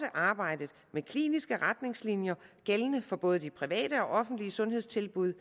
arbejdet med kliniske retningslinjer gældende for både de private og offentlige sundhedstilbud